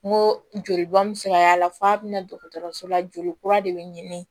N ko joli bɔn bɛ se ka y'a la f'a bɛ na dɔgɔtɔrɔso la joli kura de bɛ ɲini